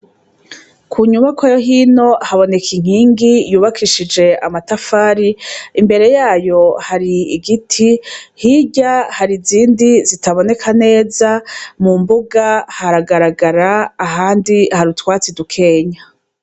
Ku nyubakwa yo hino haboneka inkingi yubakishije amatafari imbere yayo hari igiti hirya hari izindi zitaboneka neza mu mbuga haragaragara ahandi hari utwatsi dukenya.